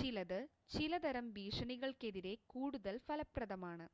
ചിലത് ചിലതരം ഭീഷണികൾക്കെതിരെ കൂടുതൽ ഫലപ്രദമാണ്